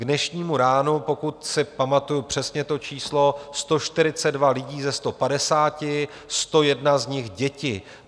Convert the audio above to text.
K dnešnímu ránu, pokud si pamatuji přesně to číslo, 142 lidí ze 150, 101 z nich děti.